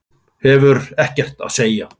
Hefur ekkert að segja.